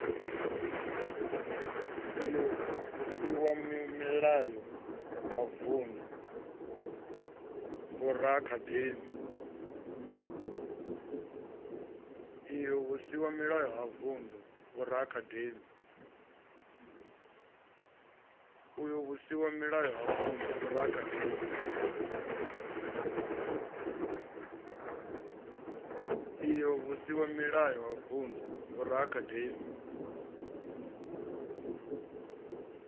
io vhusimamilayo ha vundu vhoraakademi